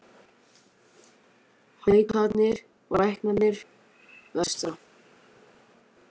Hækkanir og lækkanir vestra